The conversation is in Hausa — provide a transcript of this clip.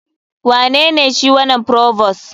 Wanene shi wanan provost?